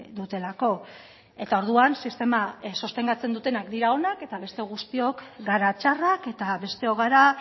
dutelako eta orduan sistema sostengatzen dutenak dira onak eta beste guztiok gara txarrak eta besteok gara